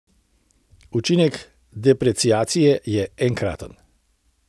Učinek depreciacije je enkraten.